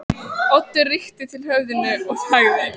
Þykistu vera prófessor í lúsum, þarna Lilla lús!